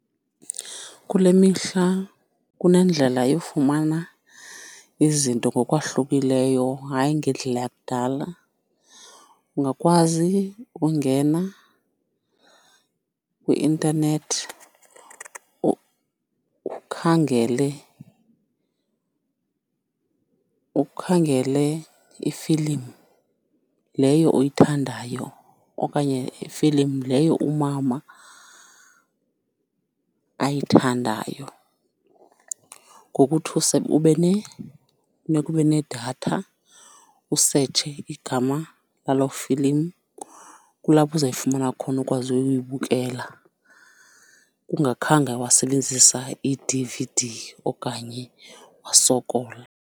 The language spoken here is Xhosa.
Kule mihla kunendlela yofumana izinto ngokwahlukileyo hayi ngendlela yakudala. Ungakwazi ukungena kwi-intanethi ukhangele, ukhangele ifilimu leyo oyithandayo okanye ifilimu leyo umama ayithandayo, ngokuthi ube funeka ube nedatha, usetshe igama laloo filimu, kulapho uzayifumana khona ukwazi uyoyibukela kungakhange wasebenzisa i-D_V_D okanye wasokola.